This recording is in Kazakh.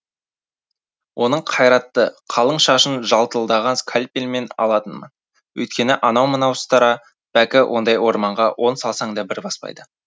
оның қайратты қалың шашын жалтылдаған скальпельмен алатынмын өйткені анау мынау ұстара бәкі ондай орманға он салсаң да бір баспайды